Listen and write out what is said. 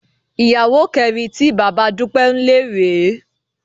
Ìyàwó kẹrin tí bàbá Dúpẹ́ ń lé rè é